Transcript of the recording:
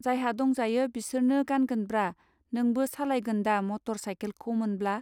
जायहा दंजायो बिसोरनो गानगोनब्रा नोंबो सालायगोन्दा मटर साइखेलखौ मोनब्ला.